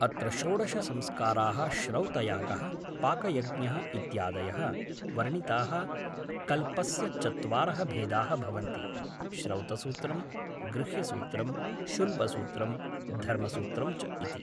अत्र षोडशसंस्काराः श्रौतयागः पाकयज्ञः इत्यादयः वर्णिताः कल्पस्य चत्वारः भेदाः भवन्ति श्रौतसूत्रं गृह्यसूत्रं शुल्बसूत्रं धर्मसूत्रं च इति